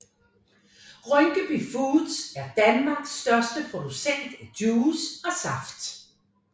Rynkeby Foods er Danmarks største producent af juice og saft